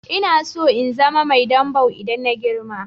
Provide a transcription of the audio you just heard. Ina so in zama Mai dambw idan na girma.